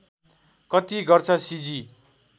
कति गर्छ सिजी